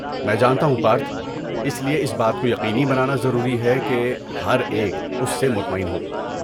میں جانتا ہوں پارتھ! اس لیے اس بات کو یقینی بنانا ضروری ہے کہ ہر ایک اس سے مطمئن ہو۔